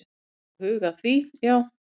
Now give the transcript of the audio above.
Við erum að huga að því, já.